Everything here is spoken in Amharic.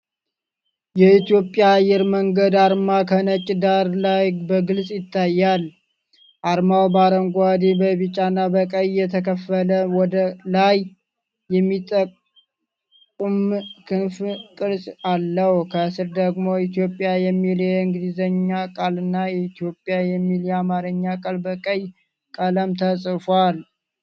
የኢትዮጵያ አየር መንገድ አርማ ከነጭ ዳራ ላይ በግልጽ ይታያል። አርማው በአረንጓዴ፣ በቢጫና በቀይ የተከፈለ፣ ወደ ላይ የሚጠቁም ክንፍ ቅርጽ አለው። ከስር ደግሞ "ኢትዮጵያ" የሚለው የእንግሊዝኛ ቃልና "የኢትዮጵያ" የሚለው የአማርኛ ቃል በቀይ ቀለም ተጽፈዋል።